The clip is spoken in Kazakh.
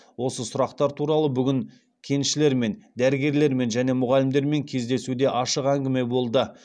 осы сұрақтар туралы бүгін кеншілермен дәрігерлермен және мұғалімдермен кездесуде ашық әңгіме болды